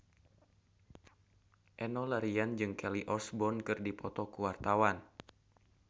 Enno Lerian jeung Kelly Osbourne keur dipoto ku wartawan